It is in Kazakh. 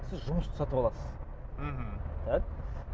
сіз жұмысты сатып аласыз мхм так